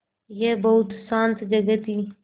यह बहुत शान्त जगह थी